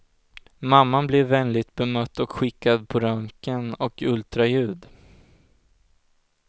Mamman blir vänligt bemött och skickad på röntgen och ultraljud.